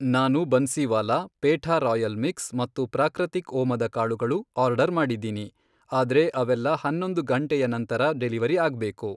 ನಾನು Bansiwala, petha royal mix, ಮತ್ತು ಪ್ರಾಕೃತಿಕ್ ಓಮದ ಕಾಳುಗಳು, ಆರ್ಡರ್ ಮಾಡಿದೀನಿ, ಆದ್ರೆ ಅವೆಲ್ಲಾ ಹನ್ನೊಂದು ಘಂಟೆಯ ನಂತರ ಡೆಲಿವರಿ ಆಗ್ಬೇಕು.